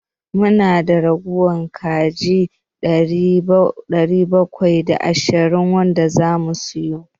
Mu na da ragowar kaji ɗari bakwai da ashirin wanda za mu sayar.